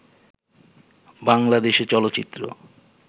বাংলাদেশে চলচ্চিত্র